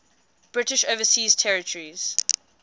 british overseas territories